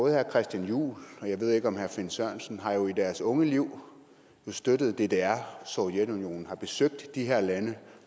herre christian juhl og jeg ved ikke med herre finn sørensen har jo i deres unge liv støttet ddr sovjetunionen og har besøgt de her lande og